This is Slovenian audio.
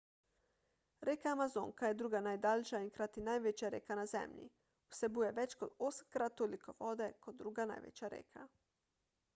reka amazonka je druga najdaljša in hkrati največja reka na zemlji vsebuje več kot 8-krat toliko vode kot druga največja reka